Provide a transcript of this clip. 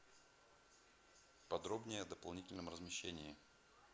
подробнее о дополнительном размещении